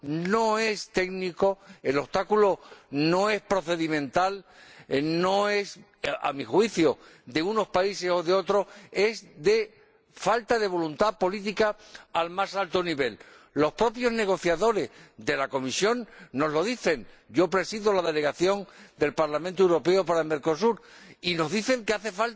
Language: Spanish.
no es técnico, el obstáculo no es procedimental, no es, a mi juicio, de unos países o de otros, es de falta de voluntad política al más alto nivel. Los propios negociadores de la Comisión nos lo dicen. Yo presido la Delegación del Parlamento Europeo en Mercosur y nos dicen que